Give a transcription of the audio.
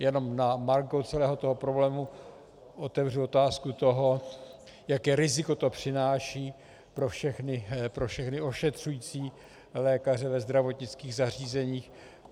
Jenom na margo celého toho problému otevřu otázku toho, jaké riziko to přináší pro všechny ošetřující lékaře ve zdravotnických zařízeních.